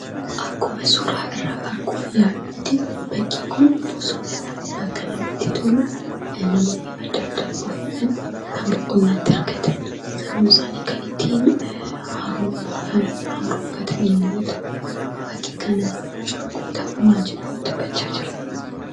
Akkuma suuraa irraa arguuf yaallutti bakki kun bosonadha. Bakka namatti tolu: namoonni adda addaa dhufuudhaan kan boqonna itti argatan: sammuu isaanii kan ittiin haaromfatan yommuu ta'u, bakka kanatti mucaan kun tapha maal jedhamu taphachaa jira?